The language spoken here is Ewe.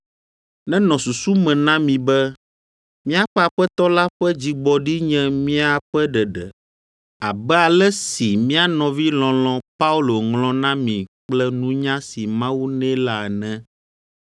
Nenɔ susu me na mi be míaƒe Aƒetɔ la ƒe dzigbɔɖi nye miaƒe ɖeɖe, abe ale si mía nɔvi lɔlɔ̃ Paulo ŋlɔ na mi kple nunya si Mawu nɛ la ene.